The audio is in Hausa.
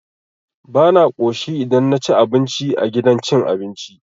Bana ƙoshi idan naci abinci a gidan cin abinci.